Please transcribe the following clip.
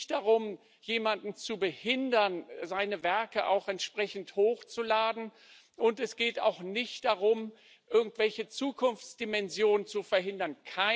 Es geht nicht darum, jemanden zu behindern, seine Werke hochzuladen, und es geht auch nicht darum, irgendwelche Zukunftsdimensionen zu verhindern.